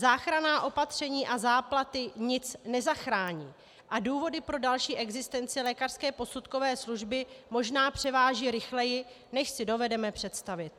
Záchranná opatření a záplaty nic nezachrání a důvody pro další existenci lékařské posudkové služby možná převáží rychleji, než si dovedeme představit.